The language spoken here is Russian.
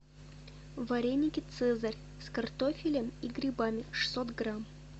вареники цезарь с картофелем и грибами шестьсот грамм